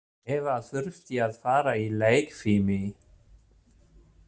Eva þurfti að fara í leikfimi.